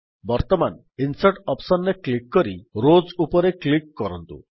ବର୍ତ୍ତମାନ insert option ରେ click କରି ରୋଜ୍ ଉପରେ କ୍ଲିକ୍ କରନ୍ତୁ